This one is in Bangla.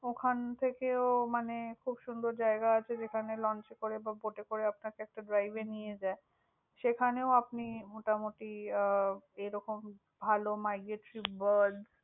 ওখান থেকে ও মানে খুব সুন্দর জায়গা আছে যেখানে launch করে বা boat করে আপনাকে একটা drive নিয়ে যায়। সেখানেও আপনি মোটামুটি আহ এরকম ভালও birds